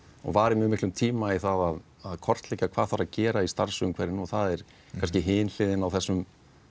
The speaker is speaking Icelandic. varið miklum tíma í að kortleggja hvað þarf að gera í starfsumhverfinu og það er kannski hin hliðin á þessum